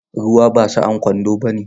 Ruwa ba sa'an kwando bane.